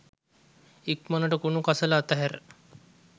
ඉක්මණට කුණු කසල අතහැර